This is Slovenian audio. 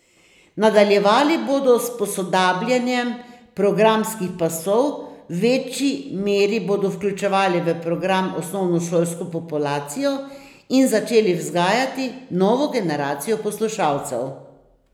Nadaljevali bodo s posodabljanjem programskih pasov, v večji meri bodo vključevali v program osnovnošolsko populacijo in začeli vzgajati novo generacijo poslušalcev.